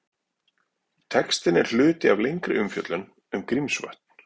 Textinn er hluti af lengri umfjöllun um Grímsvötn.